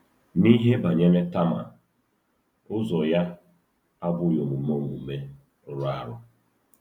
N’ihe banyere Tama, ụzọ ya abụghị omume omume rụrụ arụ.